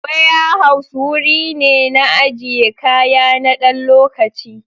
Ware house wurine na ajiye kaya nadan lokaci